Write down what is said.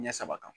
Ɲɛ saba kan